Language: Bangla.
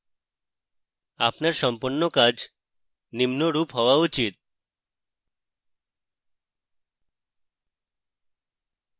আপনার সম্পন্ন কাজ নিম্নরূপ হওয়া উচিত